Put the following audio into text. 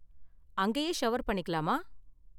அங்கயே ஷவர் பண்ணிக்கலாமா?